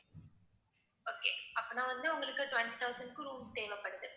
okay அப்படின்னா வந்து உங்களுக்கு twenty thousand க்கு room தேவைப்படுது